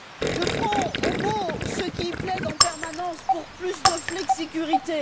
Je prends au mot ceux qui plaident en permanence pour plus de flexicurité.